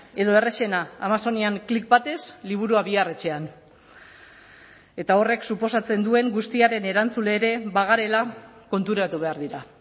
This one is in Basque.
edo errazena amazonian click batez liburua bihar etxean eta horrek suposatzen duen guztiaren erantzule ere bagarela konturatu behar dira